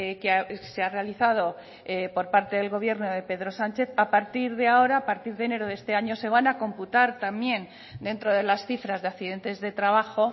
que se ha realizado por parte del gobierno de pedro sánchez a partir de ahora a partir de enero de este año se van a computar también dentro de las cifras de accidentes de trabajo